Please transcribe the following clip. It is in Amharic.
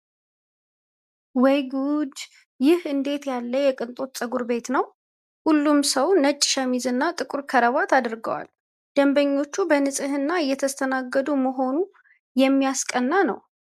ወይ ጉድ! ይህ እንዴት ያለ የቅንጦት ፀጉር ቤት ነው! ሁሉም ሰው ነጭ ሸሚዝና ጥቁር ክራባት አድርገዋልል። ደንበኞቹ በንጽህና እየተስተናገዱ መሆኑ የሚያስቀና ነው!